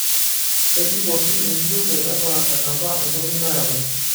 kebik oshi enkiyioget anaa eneba entoki nayawua.